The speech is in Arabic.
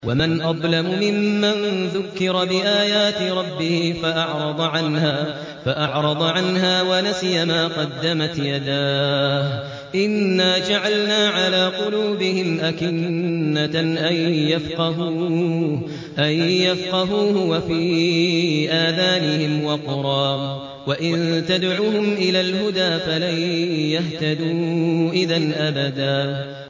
وَمَنْ أَظْلَمُ مِمَّن ذُكِّرَ بِآيَاتِ رَبِّهِ فَأَعْرَضَ عَنْهَا وَنَسِيَ مَا قَدَّمَتْ يَدَاهُ ۚ إِنَّا جَعَلْنَا عَلَىٰ قُلُوبِهِمْ أَكِنَّةً أَن يَفْقَهُوهُ وَفِي آذَانِهِمْ وَقْرًا ۖ وَإِن تَدْعُهُمْ إِلَى الْهُدَىٰ فَلَن يَهْتَدُوا إِذًا أَبَدًا